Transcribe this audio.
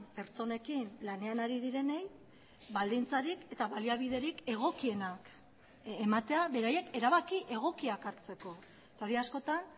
pertsonekin lanean ari direnei baldintzarik eta baliabiderik egokienak ematea beraiek erabaki egokiak hartzeko eta hori askotan